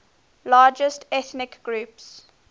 largest ethnic groups